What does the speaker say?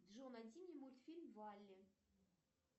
джой найди мне мультфильм валли